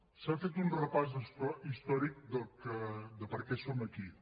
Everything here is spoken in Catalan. s’ha fet un repàs històric de per què som aquí